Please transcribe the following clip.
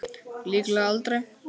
Líklega aldrei.